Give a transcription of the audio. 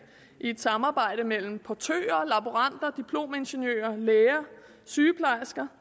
i et samarbejde mellem portører laboranter diplomingeniører læger og sygeplejersker